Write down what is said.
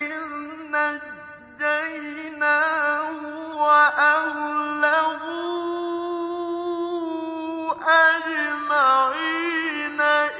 إِذْ نَجَّيْنَاهُ وَأَهْلَهُ أَجْمَعِينَ